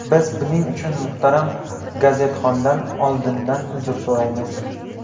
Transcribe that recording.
Biz buning uchun muhtaram gazetxondan oldindan uzr so‘raymiz.